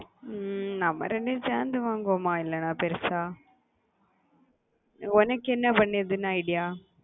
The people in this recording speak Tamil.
நம்ம இரண்டு பேரும் சேர்ந்து வாங்குவோமா இல்லனா பெருசா உனக்கு என்ன பண்றதுன்னு idea